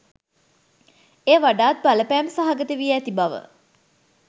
එය වඩාත් බලපෑම් සහගත වී ඇති බව